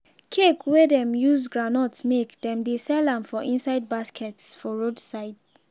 cake wey dem use groundnut make dem dey sell am for inside baskets for road side.